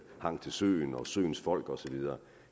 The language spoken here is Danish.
hang til søen og af søens folk og så videre